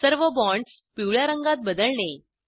सर्व बॉण्ड्स पिवळ्या रंगात बदलणे